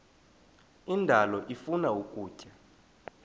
indalo ifuna ukutya